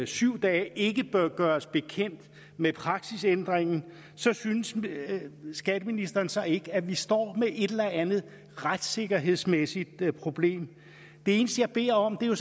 syv dage ikke bør gøres bekendt med praksisændringen synes skatteministeren så ikke at vi står med et eller andet retssikkerhedsmæssigt problem det eneste jeg beder om er